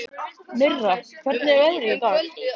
Mirra, hvernig er veðrið í dag?